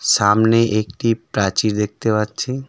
সামনে একটি প্রাচীর দেখতে পাচ্ছি.